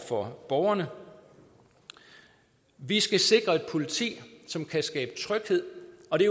for borgerne vi skal sikre et politi som kan skabe tryghed og det